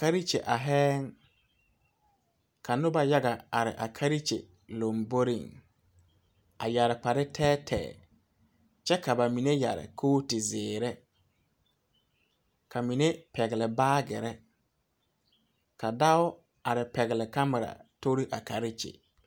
Karekyi areŋ, ka noba yaga are a karekyi lomboriŋ, a yɛre kpar tɛɛtɛɛ, kyɛ ka ba mine yɛre coati zeɛre, ka mine pɛgeli baagirii, ka dao are pɛgeli camera tori a karekyi.